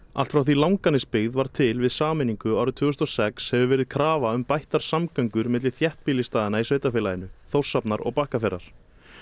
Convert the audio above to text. allt frá því Langanesbyggð varð til við sameiningu árið tvö þúsund og sex hefur verið krafa um bættar samgöngur milli þéttbýlisstaðanna í sveitarfélaginu Þórshafnar og Bakkafjarðar